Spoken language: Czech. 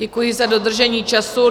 Děkuji za dodržení času.